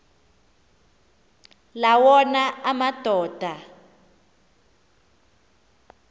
la wona amadoda